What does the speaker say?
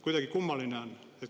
Kuidagi kummaline on.